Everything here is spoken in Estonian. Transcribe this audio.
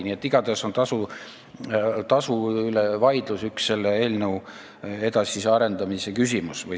Nii et igatahes on tasu teema üks selle eelnõu edasise arendamise suur küsimus.